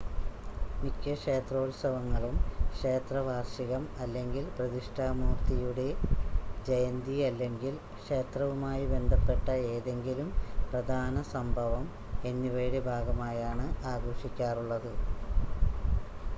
മിക്ക ക്ഷേത്രോത്സവങ്ങളും ക്ഷേത്രവാർഷികം അല്ലെങ്കിൽ പ്രതിഷ്ഠാ മൂർത്തിയുടെ ജയന്തി അല്ലെങ്കിൽ ക്ഷേത്രവുമായി ബന്ധപ്പെട്ട ഏതെങ്കിലും പ്രധാന സംഭവം എന്നിവയുടെ ഭാഗമായാണ് ആഘോഷിക്കാറുള്ളത്